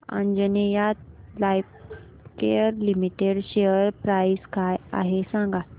Anjaneya Lifecare limited share price काय आहे सांगा